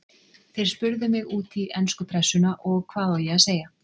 Þeir spurðu mig út í ensku pressuna og hvað á ég að segja?